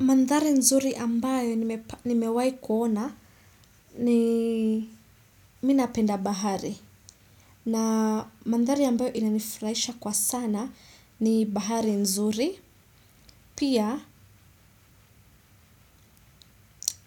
Mandhari nzuri ambayo nimewahi kuona ni mimi napenda bahari. Mandhari ambayo nimewahi kuona ni mimi napenda bahari. Pia